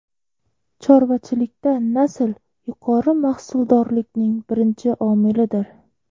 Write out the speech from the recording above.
Chorvachilikda nasl yuqori mahsuldorlikning birinchi omilidir.